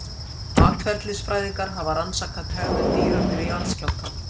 Atferlisfræðingar hafa rannsakað hegðun dýra fyrir jarðskjálfta.